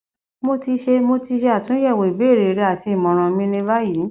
mo ti ṣe mo ti ṣe atunyẹwo ibeere rẹ ati imọran mi ni bayi